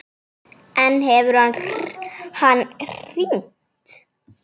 En hefur hann hringt?